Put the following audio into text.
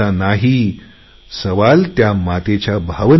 प्रश्न त्या मातेच्या भावनेचा आहे